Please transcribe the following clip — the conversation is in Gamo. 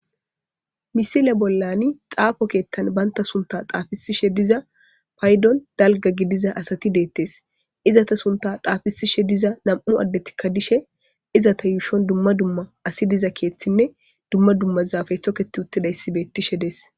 misile bollani xaafo keettan baynta sunta xaafisishe diza paydon dalga gidiza asati deettes izata sunta xaafisishe diza nam7u addetikka dishe izata yuushon dumma dumma asi diza keeththinne dumma dummazaafay toketi uttidayssibettishe dees